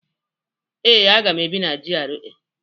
Ee, aga m ebi na GRA